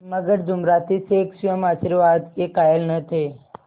मगर जुमराती शेख स्वयं आशीर्वाद के कायल न थे